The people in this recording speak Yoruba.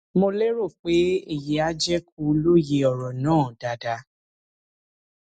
mo lérò pé èyí á jẹ kó o lóye ọrọ náà dáadáa